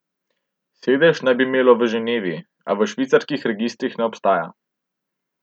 Sedež naj bi imelo v Ženevi, a v švicarskih registrih ne obstaja.